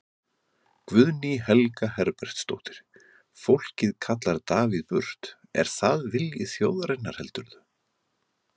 Guðný Helga Herbertsdóttir: Fólkið kallar Davíð burt, er það vilji þjóðarinnar heldurðu?